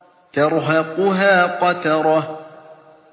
تَرْهَقُهَا قَتَرَةٌ